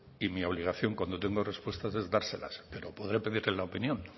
y mi obligación cuando tengo respuestas es dárselas pero podré pedirle la opinión